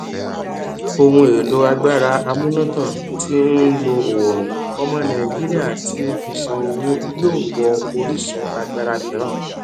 ohun èlò agbára amúnátàn tí ń lo oòrùn ọmọ nàìjíríà tí ó fi ṣọ owó yóò wọ orísun agbára mìíràn